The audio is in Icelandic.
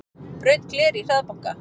Braut gler í hraðbanka